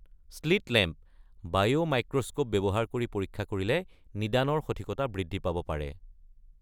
Slit lamp (বায়’মাইক্ৰস্কোপ) ব্যৱহাৰ কৰি পৰীক্ষা কৰিলে নিদানৰ সঠিকতা বৃদ্ধি পাব পাৰে।